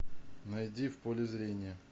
найди в поле зрения